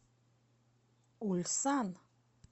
ульсан